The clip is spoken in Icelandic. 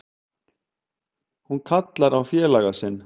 Hann kallar á félaga sinn.